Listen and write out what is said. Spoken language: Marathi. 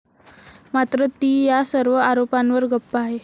मात्र ती या सर्व आरोपांवर गप्प आहे.